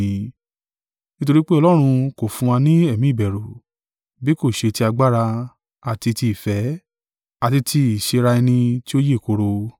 Nítorí pé Ọlọ́run kò fún wa ni ẹ̀mí ìbẹ̀rù, bí kò ṣe ti agbára, àti ti ìfẹ́, àti ti ìsẹ́ra-ẹni ti ó yè kooro.